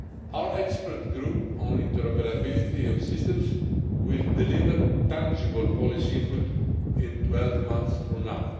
Our expert group on interoperability of systems will deliver tangible policy input 12 months from now.